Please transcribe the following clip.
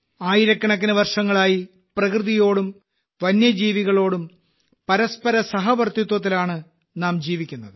ആയിരക്കണക്കിന് വർഷങ്ങളായി പ്രകൃതിയോടും വന്യജീവികളോടും പരസ്പര സഹവർത്തിത്വത്തിലാണ് നാം ജീവിക്കുന്നത്